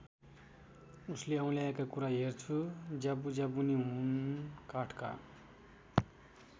उसले औँल्याएका कुरा हेर्छु ज्यापू ज्यापुनी हुन् काठका।